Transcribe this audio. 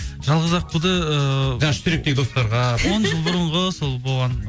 жалғыз аққуды ыыы жаңа үштеректегі достарға он жыл бұрынғы сол болған